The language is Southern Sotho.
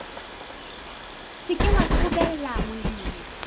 se ke wa qobella molemi